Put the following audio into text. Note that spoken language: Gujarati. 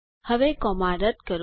હવે કોમા રદ કરો